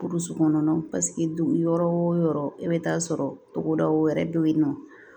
kɔnɔna dugu yɔrɔ o yɔrɔ i bɛ taa sɔrɔ togodaw yɛrɛ bɛ yen nɔ